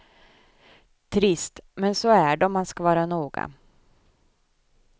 Trist, men så är det om man ska vara noga.